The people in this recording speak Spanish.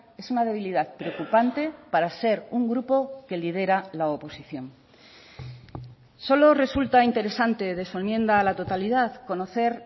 es una debilidad preocupante para ser un grupo que lidera la oposición solo resulta interesante de su enmienda a la totalidad conocer